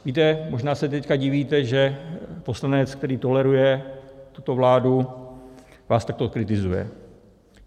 Víte, možná se teď divíte, že poslanec, který toleruje tuto vládu, vás takto kritizuje.